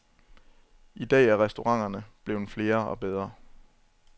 I dag er restauranterne blevet flere og bedre.